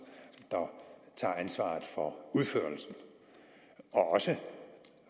der tager ansvaret for udførelsen og også